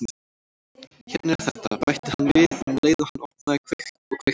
Hérna er þetta- bætti hann við um leið og hann opnaði og kveikti.